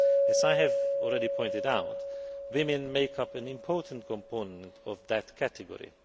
As I have already pointed out, women make up an important component of that category.